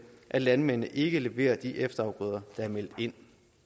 hvor landmændene ikke leverer de efterafgrøder der er meldt ind